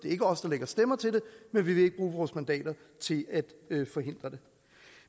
ikke os der lægger stemmer til det men vi vil ikke bruge vores mandater til at forhindre det